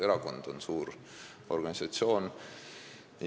Erakond on suur organisatsioon.